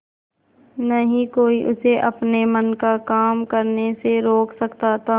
न ही कोई उसे अपने मन का काम करने से रोक सकता था